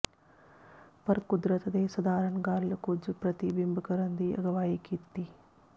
ਪਰ ਕੁਦਰਤ ਦੇ ਸਧਾਰਨ ਗੱਲ ਕੁਝ ਪ੍ਰਤੀਬਿੰਬ ਕਰਨ ਦੀ ਅਗਵਾਈ ਕੀਤੀ